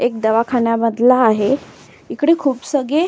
एक दवाखान्यामधला आहे इकडे खूप सगळे--